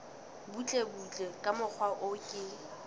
butlebutle ka mokgwa o ke